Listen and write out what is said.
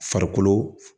Farikolo